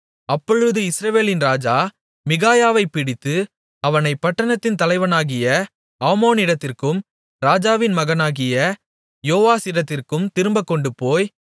அப்பொழுது இஸ்ரவேலின் ராஜா மிகாயாவைப் பிடித்து அவனைப் பட்டணத்தின் தலைவனாகிய ஆமோனிடத்திற்கும் ராஜாவின் மகனாகிய யோவாசிடத்திற்கும் திரும்பக் கொண்டுபோய்